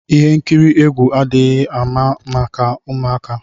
Ihe nkiri egwu adịghị mma maka ụmụaka.